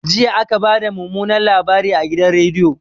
Jiya aka bada mumunan labari a gidan rediyo